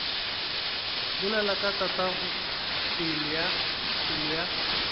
bolela ka tatago pelo ya